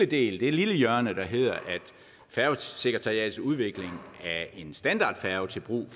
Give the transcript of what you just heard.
det lille hjørne der hedder at færgesekretariatets udvikling af en standardfærge til brug